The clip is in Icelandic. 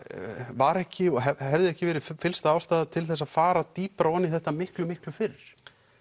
var ekki og hefði ekki verið fyllsta ástæða til þess að fara dýpra ofan í þetta miklu miklu fyrr